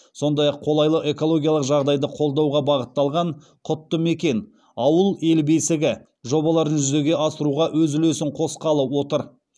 сондай ақ қолайлы экологиялық жағдайды қолдауға бағытталған құтты мекен ауыл ел бесігі жобаларын жүзеге асыруға өз үлесін қосқалы отыр